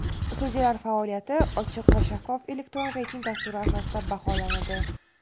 Sudyalar faoliyati ochiq va shaffof elektron reyting dasturi asosida baholanadi.